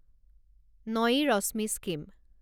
Nayi Roshni scheme